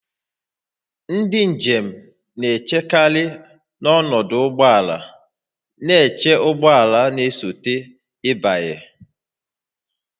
Ndị njem na-echekarị n'ọdụ ụgbọ ala na-eche ụgbọ ala na-esote ịbanye